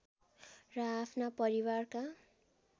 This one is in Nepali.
र आफ्ना परिवारका